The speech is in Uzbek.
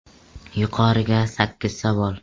“Yuqori”ga sakkiz savol.